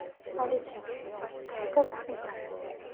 алиса закажи сметану